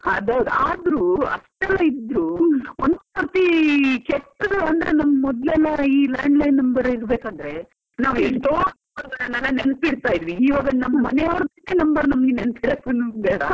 ಅದ್ ಹೌದು ಆದ್ರೂ ಅಷ್ಟೆಲ್ಲ ಇದ್ರೂ ಒಂದ್ ಸರ್ತಿ ಕೆಟ್ಟದು ಅಂದ್ರೆ ಮೊದ್ಲೆಲ್ಲಾ ಇದು ನಮ್ಮ್ landline number ಇರಬೇಕಂದ್ರೆ ನಾವ್ ನೆನ್ಪಿಡ್ತಾ ಇದ್ವಿ ಈಗ ನಮ್ ಮನೆಯವ್ರ್ number ನೆನ್ಪ್ .